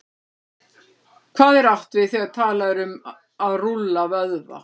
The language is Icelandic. Hvað er átt við, þegar talað er um að rúlla vöðva?